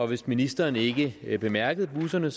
hvis ministeren ikke bemærkede busserne